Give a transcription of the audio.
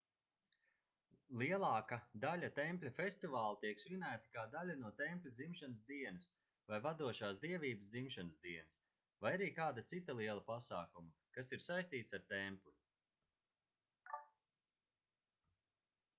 lielāka daļa tempļa festivālu tiek svinēti kā daļa no tempļa dzimšanas dienas vai vadošās dievības dzimšanas dienas vai arī kāda cita liela pasākuma kas ir saistīts ar templi